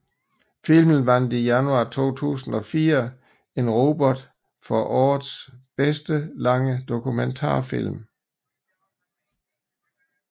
Filmen vandt i januar 2004 en Robert for årets bedste lange dokumentarfilm